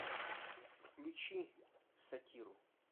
включи сатиру